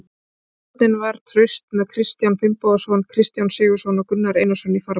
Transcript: Vörnin var traust með Kristján Finnbogason, Kristján Sigurðsson og Gunnar Einarsson í fararbroddi.